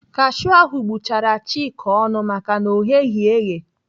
Kashiu ahụ gbụchara Chika ọnụ maka na ọ gheghị eghe.